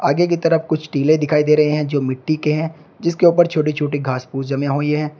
आगे की तरफ कुछ टीले दिखाई दे रहे हैं जो मिट्टी के हैं जिसके ऊपर छोटी छोटी घास फूस जमी हुई है।